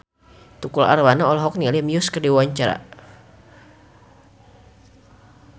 Tukul Arwana olohok ningali Muse keur diwawancara